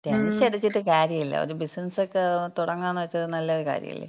മ്മ്. ടെൻഷനടിച്ചിട്ട് കാര്യല്ല. ഒരു ബിസിനസക്ക തുടങ്ങാന്ന് വച്ചാ നല്ലൊരു കാര്യല്ലേ.